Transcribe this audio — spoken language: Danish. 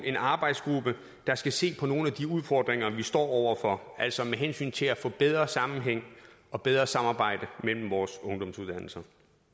en arbejdsgruppe der skal se på nogle af de udfordringer vi står over for altså med hensyn til at få bedre sammenhæng og bedre samarbejde mellem vores ungdomsuddannelser